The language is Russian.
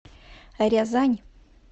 рязань